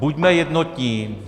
Buďme jednotní.